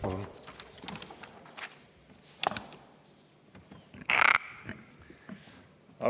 Palun!